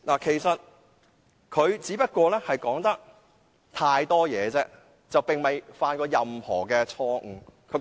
其實，他只是說話太多，並無犯任何錯失。